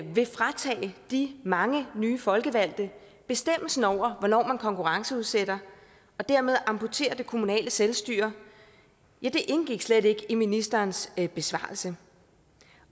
vil fratage de mange nye folkevalgte bestemmelsen over hvornår man konkurrenceudsætter og dermed amputerer det kommunale selvstyre indgik slet ikke i ministerens besvarelse